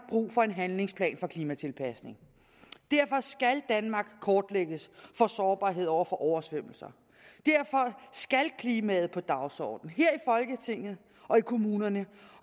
brug for en handlingsplan for klimatilpasning og derfor skal danmark kortlægges for sårbarhed over for oversvømmelser derfor skal klimaet på dagsordenen her folketinget og i kommunerne